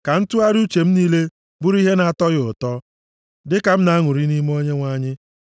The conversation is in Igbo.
Ka ntụgharị uche m niile bụrụ ihe na-atọ ya ụtọ, dịka m na-aṅụrị ọṅụ nʼime Onyenwe anyị.